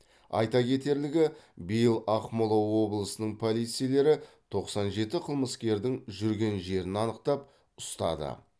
айта кетерлігі биыл ақмола облысының полицейлері тоқсан жеті қылмыскердің жүрген жерін анықтап ұстады